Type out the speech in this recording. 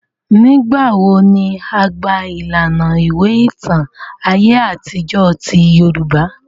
Nigbawo ni a gba ilana iwe itan aye atijọ ti Yorùbá?